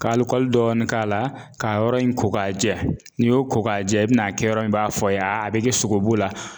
Ka dɔɔni k'a la ka yɔrɔ in ko ka jɛ, n'i y'o ko ka jɛ i bɛna a kɛ yɔrɔ in b'a fɔ a ye, a bɛ kɛ sogobu la .